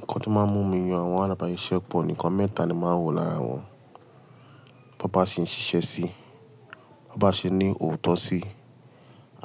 Nǹkan tó máa ń mú mi yan àwọn alábàáṣiṣẹ́ pọ̀ nì nkan mẹ́ta ni màá ń wò lára wọ́n. Bo bá ṣe ń ṣiṣẹ́ sí, bo bá ṣe ní òótọ́ sí,